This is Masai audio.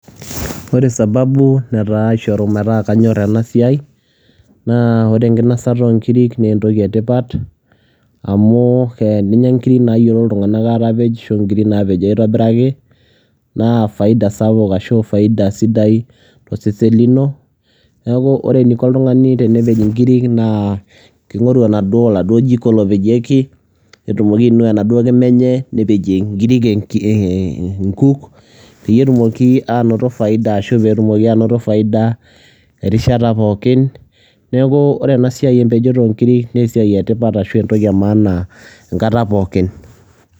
Wore sababu naishoru metaa kanyorr enasiai, naa wore enkinosata oo ngiri netaa entoki etipat amu teninya ngiri nayiolo iltunganak aatapej ashu ingiri naapejo aitobiraki naa faida sapuk ashu faida sidai toosesen lino. Niaku wore eniko oltungani tenepej inkiri naa kigoru oladuo jiko loopejieki, netumoki ainua enaduo kimaa enye nepejie inkiri inkuk peyie etumoki anoto faida ashu peyie etumoki anoto faida erishata pookin. Niaku wore enasiai empejoto oongiri naa esiai etipat ashu entoki emaana enkata pookin.